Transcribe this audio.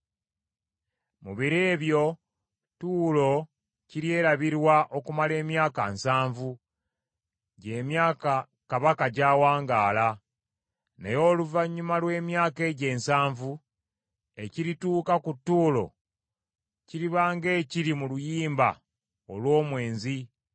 Mu biro ebyo Tuulo kiryerabirwa okumala emyaka nsanvu, gy’emyaka kabaka gy’awangaala. Naye oluvannyuma lw’emyaka egyo ensanvu, ekirituuka ku Tuulo kiriba ng’ekiri mu luyimba olw’omwenzi.